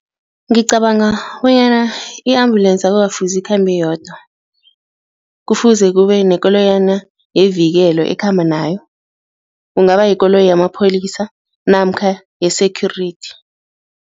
Ngicabanga bonyana i-ambulensi akukafuzi ikhambe iyodwa kufuze kube nekoloyana yevikelo ekhamba nayo, kungaba yikoloyi yamapholisa namkha ye-security.